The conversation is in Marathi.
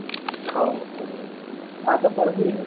हाओ आता परत राहिले